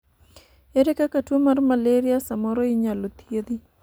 ere kaka tuo mar malaria samoro inyalo thiedhi?